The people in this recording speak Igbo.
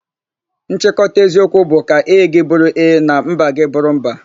Nchịkọta eziokwu bụ 'ka ee gị bụrụ ee na mba gị bụrụ mba',